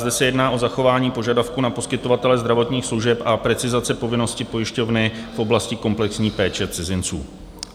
Zde se jedná o zachování požadavku na poskytovatele zdravotních služeb a precizace povinnosti pojišťovny v oblasti komplexní péče cizinců.